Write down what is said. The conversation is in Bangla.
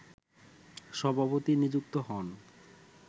সভাপতি নিযুক্ত হন